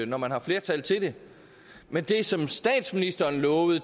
når man har flertal til det men det som statsministeren lovede